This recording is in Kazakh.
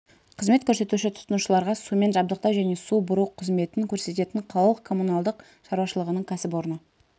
қызмет көрсетуші тұтынушыларға сумен жабдықтау және су бұру қызметін көрсететін қалалық коммуналдық шаруашылығының кәсіпорны